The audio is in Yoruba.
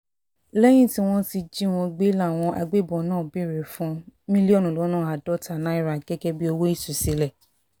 lẹ́yìn tí wọ́n jí wọn gbé làwọn agbébọn náà béèrè fún mílíọ̀nù lọ́nà àádọ́ta náírà gẹ́gẹ́ bíi owó ìtúsílẹ̀